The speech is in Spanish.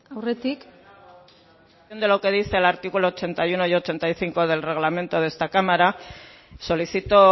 lo que dice el artículo ochenta y uno y ochenta y cinco del reglamento de esta cámara solicito